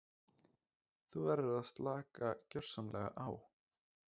Þú verður að slaka gersamlega á.